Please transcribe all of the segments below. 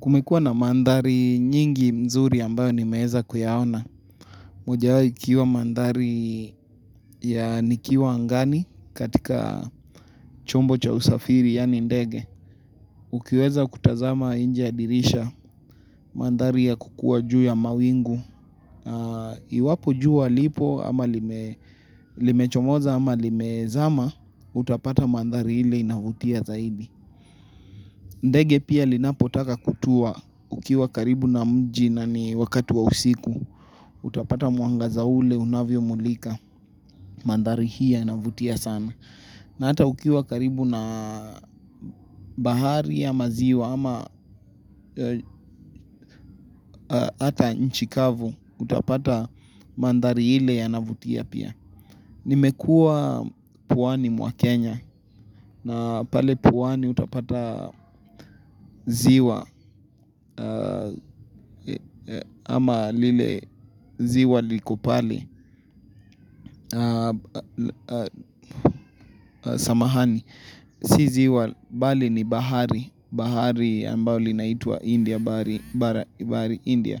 Kumekuwa na mandhari nyingi mzuri ambayo nimeeza kuyahona. Mojawo ikiwa mandhari ya nikiwa angani katika chombo cha usafiri yani ndege. Ukiweza kutazama inje dirisha mandhari ya kukua juu ya mawingu. Iwapo juu walipo ama limechomoza ama limezama utapata mandhari ile inahutia zaidi. Ndege pia linapotaka kutua ukiwa karibu na mji na ni wakati wa usiku, utapata muangaza ule, unavyo mulika, mandari hii yanavutia sana. Na ata ukiwa karibu na bahari ya maziwa ama ata nchikavu, utapata mandari hile ya navutia pia. Nimekuwa pwani mwa kenya na pale pwani utapata ziwa ama lile ziwa likopali samahani. Si ziwa, bali ni bahari, bahari ambao linaitwa India, bahari India.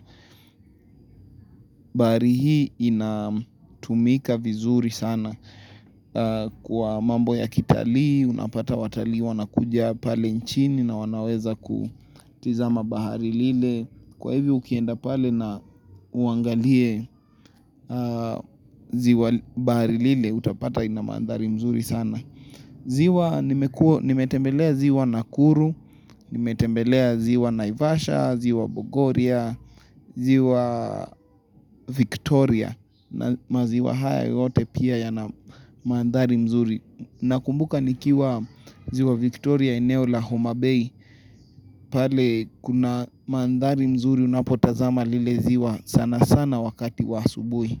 Bahari hii inatumika vizuri sana kwa mambo ya kitalii, unapata watalii wanakuja pale nchini na wanaweza kutizama bahari lile. Kwa hivyo ukienda pale na uangalie ziwa bahari lile, utapata ina mandhari mzuri sana. Ziwa nimetembelea ziwa Nakuru, nimetembelea ziwa Naivasha, ziwa Bogoria, ziwa Victoria na maziwa haya yote pia ya na manthari mzuri. Nakumbuka nikiwa ziwa Victoria eneo la homabay pale kuna manthari mzuri unapotazama lile ziwa sana sana wakati wa asubuhi.